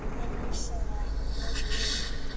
Þeirra missir er mikill núna.